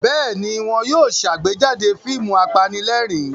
Bẹ́ẹ̀ ni, wọ́n yóò ṣàgbéjáde fíìmù apanílẹ̀rín.